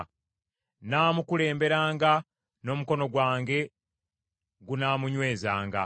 Nnaamukulemberanga, n’omukono gwange gunaamunywezanga.